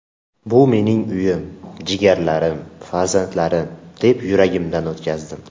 Bu mening uyim, jigarlarim, farzandlarim, deb yuragimdan o‘tkazdim.